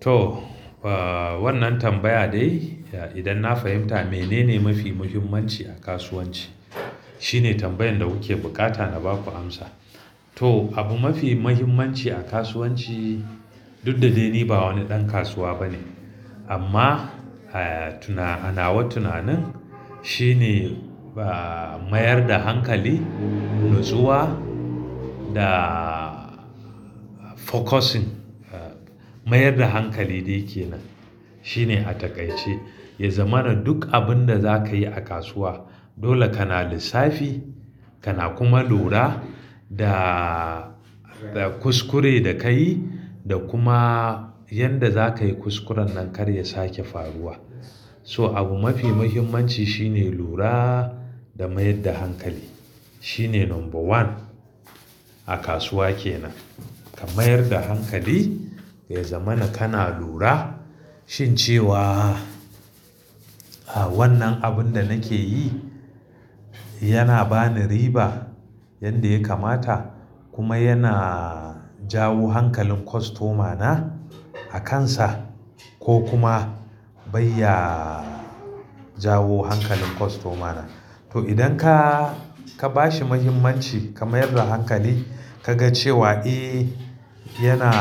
To, ba, wannan tambaya dai, idan na fahimta menene mafi muhimmanci a kasuwanci. Shine tambayan da kuke bukata na baku amsa. To, abu mafi mahimmanci a kasuwanci, duk da dai ni ba wani ɗan kasuwa bane amma, eh, tuna anawa tunanin shine, ba, mayar da hankali, natsuwa da focusing. Mayar da hankali dai kenan shine a takaice, ya zamana duk abun da zaka yi a kasuwa. Dole kana lissafi, kana kuma lura da, da kuskure da kayi da kuma yanda zaka yi kuskuren nan kar ya sake faruwa. So abu mafi mahimmanci shine lura da mayar da hankali, shine number one a kasuwa kenan. Ka mayar da hankali, ya zamana kana lura shin cewa, a, wannan abun da nake yi, yana bani riba yanda ya kamata, kuma yana jawo hankalin kostomana a kansa, ko kuma bai ya jawo hankalin kostomana. To idan ka, ka bashi muhimmanci ka mayar da hankali ka ga cewa, eh yana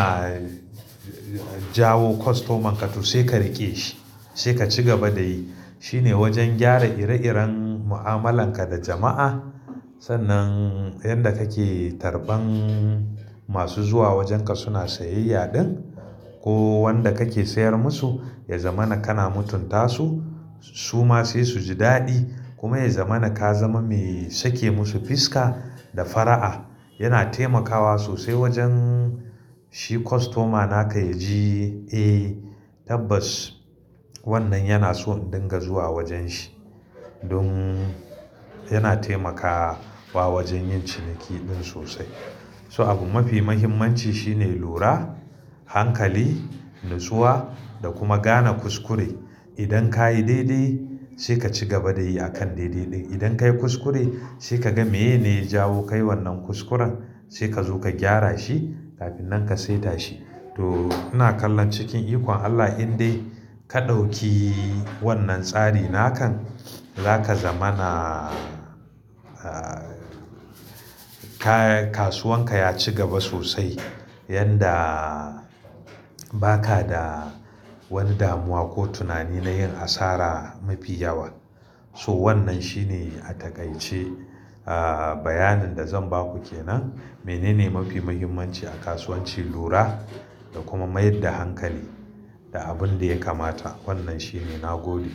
jawo kostoman ka to sai ka riƙe shi, sai ka ci gaba da yi. Shine wajen gyara ire iren mu'amalanka da jama'a, sannan yanda kake karban masu zuwa wajenka suna sayayya ɗin, ko wanda kake sayar musu, ya zamana kana mutunta su, su ma sai su ji daɗi, kuma ya zamana ka zama mai sake musu fiska da fara'a. Yana taimakawa sosai wajen shi kostoma na ka ya ji, eh tabbas wannan yana so in dinga zuwa wajen shi. Dun yana taimakawa wajen yin ciniki ɗin sosai. So abu mafi mahimmanci shine lura, hankali, natsuwa da kuma gane kuskure. Idan kayi daidai, sai ka cigaba da yi akan daidai ɗin. Idan ka yi kuskure, sai ka gan me ne ya jawo kai wannan kuskuren, sai ka zo ka gyara shi kafin nan ka saita shi. To, ina kallon cikin ikon Allah in dai ka ɗauki wannan tsari nakan, za ka zamana, ah, kasuwanka ya ci gaba sosai yanda ba ka da wani damuwa ko tunani na yin asara mafi yawa. So wannan shine a takaice, ah, bayanin da zan baku kenan. Menene mafi muhimmanci a kasuwanci lura, da kuma mayar da hankali da abun da ya kamata. Wannan shine nagode.